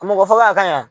Mɔgɔ faga a ka ɲi